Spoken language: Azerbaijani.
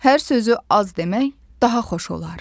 Hər sözü az demək daha xoş olar.